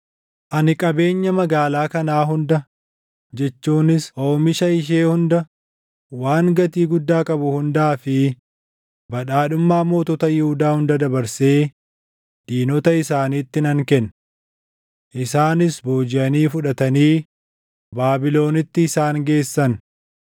Ani qabeenya magaalaa kanaa hunda jechuunis oomisha ishee hunda, waan gatii guddaa qabu hundaa fi badhaadhummaa mootota Yihuudaa hunda dabarsee diinota isaaniitti nan kenna. Isaanis boojiʼanii fudhatanii Baabilonitti isaan geessan.